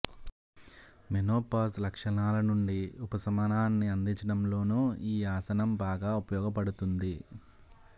menopause లక్షణాల నుంచి ఉపశమనాన్ని అందించడంలోనూ ఈ ఆసనం బాగా ఉపయోగపడుతుంది